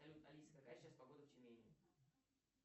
салют алиса какая сейчас погода в тюмени